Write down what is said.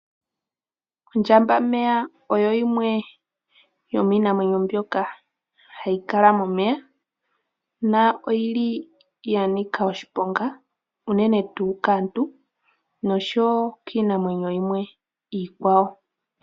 Ondjambameya oyo yomiinamwenyo mbyoka hayi kala momeya . Oyili yanika oshiponga unene unene tuu kaantu noshowoo kiinamwenyobyoka iikwawo.